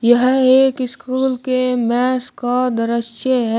यह एक स्कूल के मेस का दरश्य है।